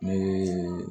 Ne ye